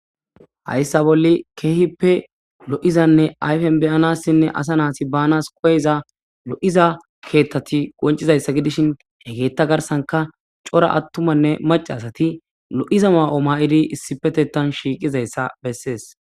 hayssa bolle keehippe lo7izanne ayfen beyanassinne asa naasi banas qoyiza lo7iza keeththati qoncizayssa gidishin hegeetta garsanka cora attumanne macaasati lo7iza ma7oma7idi issipetetan shiiqizayssa bessees